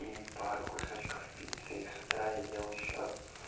и пару кусочков пиццы и с утра я ел ещё